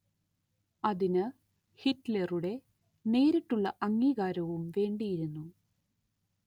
അതിന് ഹിറ്റ്‌‌ലറുടെ നേരിട്ടുള്ള അംഗീകാരവും വേണ്ടിയിരുന്നു